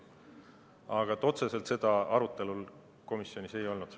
Aga komisjonis seda otseselt arutelul ei olnud.